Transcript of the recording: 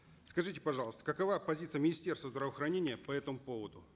скажите пожалуйста какова позиция министерства здравоохранения по этому поводу